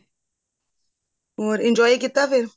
ਹੋਰ enjoy ਕੀਤਾ ਫ਼ੇਰ